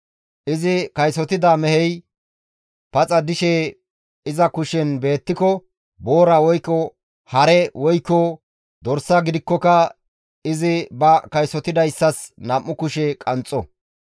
Izi kaysotida mehey paxa dishe iza kushen beettiko, boora woykko hare woykko dorsa gidikkoka izi ba kaysotidayssas nam7u kushe qanxxo.